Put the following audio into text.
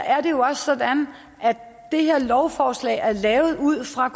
er det jo også sådan at det her lovforslag er lavet ud fra